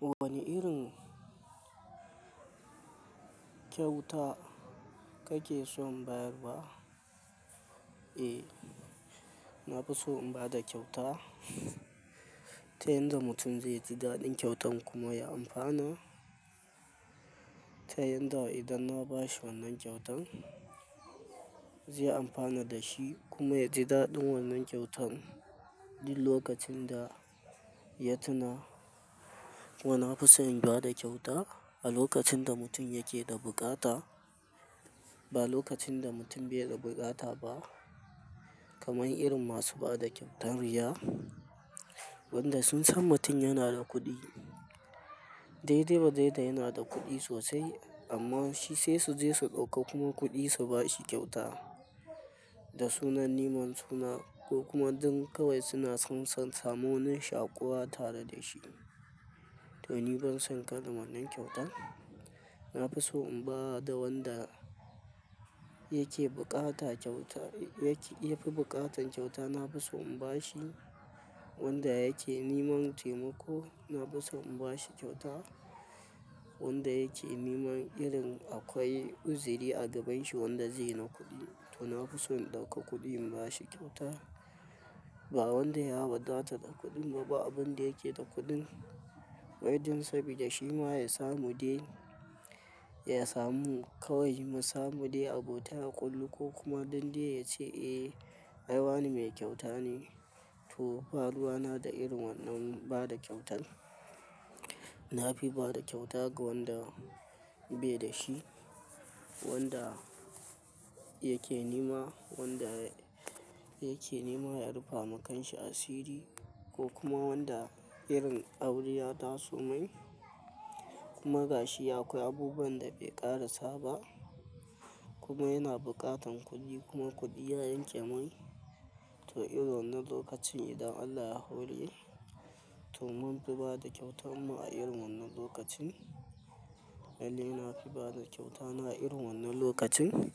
Wane irin kyauta kake son bayarwa? Eh, na fi so in ba da kyauta, ta yadda mutum zai ji daɗin kyautan kuma ya amfana. Ta yadda idan na bashi wannan kyautan zai amfana da shi kuma ya ji daɗin wannan kyautan duk lokacin da ya tuna. Kuma nafi so in ba da kyauta a lokacin da mutum yake da buƙata, ba lokacin da mutum bai da buƙata ba. Kamar irin masu ba da kyautan riya, wanda sun san mutum yana da kuɗi. Dai-dai wa dai da yana da kuɗi sosai, amma shi sai su je su ɗauka kuma kuɗin su bashi kyauta. Da sunan neman suna, ko kuma don kawai suna son san, samun shaƙuwa tare da shi. To ni ban son kalla wanna kyauta. Na fi so in ba da wanda yake buƙata kyauta, yake yafi buƙata kyautan. Na fi so in bashi, wanda yake neman taimako. Na fi so in bashi kyauta, wanda yake neman irin akwai uzuri a gaban shi wanda zai yi na kuɗi. To na fi so in ɗauka kuɗin in bashi kyauta, ba wanda ya wadata da kuɗin ba abin da yake da kuɗin. Wai ɗin sabida shi ma ya samu dai, ya samu kawai ma samu dai abota a ƙullu ko kuma don dai ya ce "Eh ai wane mai kyauta ne." To, ba ruwa na da irin wannan bada kyautan. Na fi ba da kyauta ga wanda bai da shi, wanda yake nema, wanda yake nema ya rufa ma kanshi asiri, ko kuma wanda irin aure ya taso mai, kuma gashi akwai abubuwan da bai ƙarasa ba, kuma yana buƙatan kuɗi kuma kuɗi ya yanke mai, to irin wannan lokacin idan Allah ya hore, to mun fi ba da kyauta mu a irin wannan lokaci. Lalle na fi ba da kyauta na a irin wannan lokacin,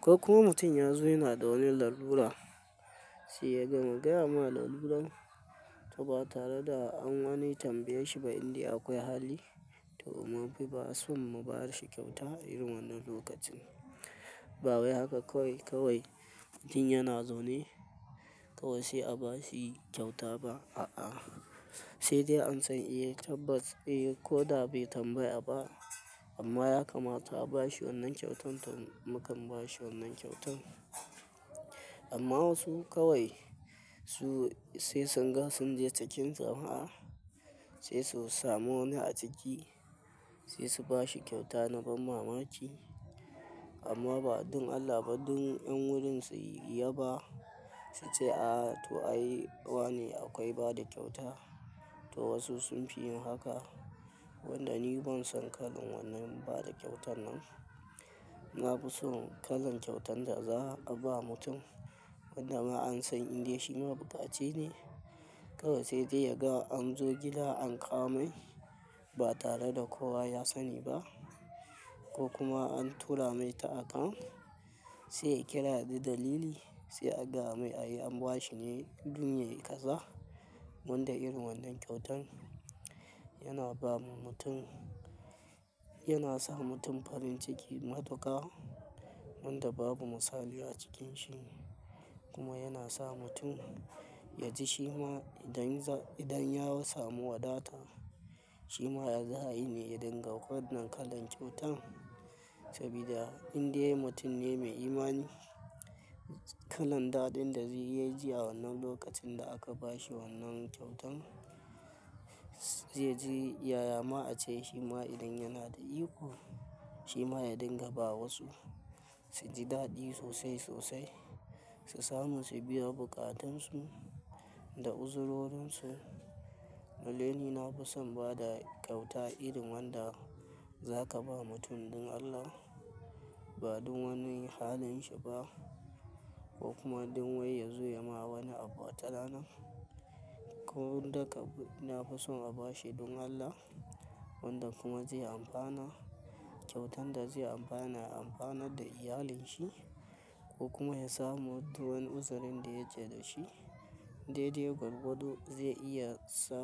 ko kuma mutum ya zo yana da wani lalura sai ya gama gaya ma laluran, to ba tare da an wani tambaye shi ba inda akwai hali. To mun fi ba son mu ba shi kyauta irin wannan lokacin. Ba wai haka kawai-kawai mutum yana zaune, kawai sai a bashi kyauta ba. A'a, sai dai an san eh tabbas eh, ko da bai tambaya ba amma ya kamata a bashi wannan kyautan to mukan bashi wannan kyautan. Amma wasu kawai su sai sun ga sun je ciki jama'a sai su samu wani a ciki, sai su bashi kyauta na ban mamaki. Amma ba don Allah ba don ƴan wurin su yaba, su ce ah, to ai wane akwai bada kyauta. To wasu sun fi yin haka, wanda ni ban son kallan wannan bada kyautan nan. Na fi so kalan kyautan da za'a ba mutum, wanda ma an san indai shi ma buƙaci ne kawai sai dai ya ga an zo gida an kawo mai. Ba tare da kowa ya sani ba. Ko kuma an tura mai ta account sai ya kira da dalili, sai a gaya mai ai an bashi ne dun yayi ka za. Wanda irin wannan kyautan. Yana ba ma mutum, yana sa mutum farin ciki matuƙa, wanda babu misali acikin shi, kuma yana sa mutum yaji shima idan za, idan ya samu wadata shima ya za'a yi ne ya dinga wannan kalan kyautan, sabida indai mutum ne mai imani kalan daɗin da zai yaji a wannan lokacin da aka bashi wannan kyautan, zai ji yaya ma'a ce shi ma idan yana da iko shi ma ya dinga bawa wasu su ji daɗi sosai-sosai, su samu su biya buƙatunsu da uzurorinsu. Lalle ni, na fi son ba da kyauta irin wanda za ka ba mutum don Allah ba don wani halin shi ba ko kuma don wai ya zo ya ma wani abu watarana. Ko wanda ka na fi so a bashi don Allah, wanda kuma zai amfana kyautan da zai amfana ya amfana da iyalin shi, ko kuma ya samu wani uzurin da ya ja da shi dai dai gwargwado zai iya sa.